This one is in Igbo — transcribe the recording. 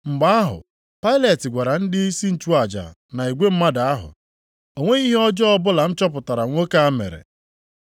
Mgbe ahụ Pailet gwara ndịisi nchụaja na igwe mmadụ ahụ, “O nweghị ihe ọjọọ ọbụla m chọpụtara nwoke a mere.”